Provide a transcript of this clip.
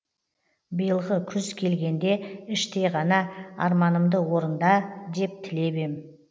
биылғы күз келгенде іштей ғана арманымды орында деп тілеп ем